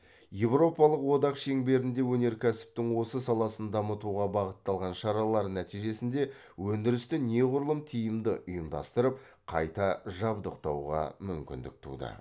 еуропалық одақ шеңберінде өнеркәсіптің осы саласын дамытуға бағытталған шаралар нәтижесінде өндірісті неғұрлым тиімді ұйымдастырып қайта жабдықтауға мүмкіндік туды